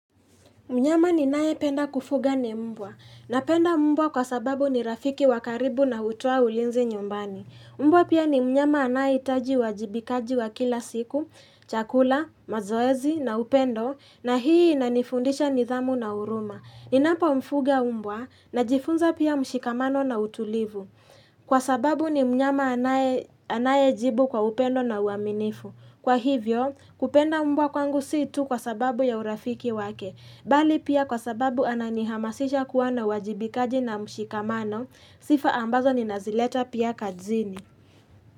Mnyama ninaye penda kufuga ni mbwa. Napenda mbwa kwa sababu ni rafiki wa karibu na hutoa ulinzi nyumbani. Mbwa pia ni mnyama anaye hitaji uwajibikaji wa kila siku, chakula, mazoezi na upendo, na hii inanifundisha nidhamu na huruma. Ninapo mfuga mbwa najifunza pia mshikamano na utulivu. Kwa sababu ni mnyama anaye jibu kwa upendo na uaminifu. Kwa hivyo, kupenda mbwa kwangu si tu kwa sababu ya urafiki wake. Bali pia kwa sababu ananihamasisha kuwa na uwajibikaji na mshikamano, sifa ambazo ninazileta pia kazini.